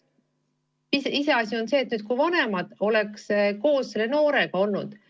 Iseasi on see, kui vanemad oleks koos selle noorega olnud.